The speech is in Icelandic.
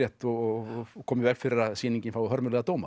og koma í veg fyrir að sýningin fái hörmulega dóma